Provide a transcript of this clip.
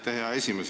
Aitäh, hea esimees!